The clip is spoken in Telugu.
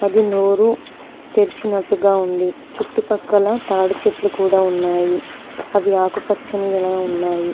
అది నోరు తెరిచినట్టుగా ఉంది చుట్టుపక్కల తాడి చెట్లు కూడా ఉన్నాయి అవి ఆకుపచ్చని లా ఉన్నాయి.